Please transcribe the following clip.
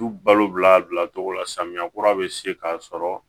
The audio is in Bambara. Du balo bila a bilacogo la samiya kura bɛ se k'a sɔrɔ